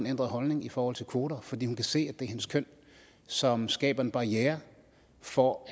ændret holdning i forhold til kvoter fordi hun kan se at er hendes køn som skaber en barriere for